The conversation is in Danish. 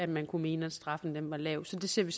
man kunne mene at straffen var lav så det ser vi